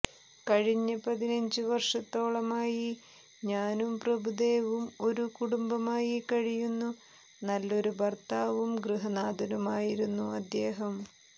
കഴിഞ്ഞ പതിനഞ്ച് വരഷത്തോളമായി ഞാനും പ്രഭുദേവയും ഒരു കുടുംബമായി കഴിയുന്നു നല്ലൊരു ഭർത്താവും ഗൃഹനാഥനുമായിരുന്നു അദ്ദേഹം